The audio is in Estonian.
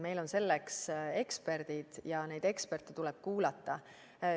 Meil on selleks eksperdid ja neid eksperte tuleb kuulata.